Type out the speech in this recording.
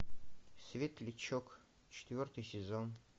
светлячок четвертый сезон